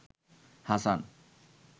Hasan